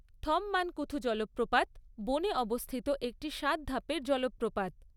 থমমানকুথু জলপ্রপাত বনে অবস্থিত একটি সাত ধাপের জলপ্রপাত।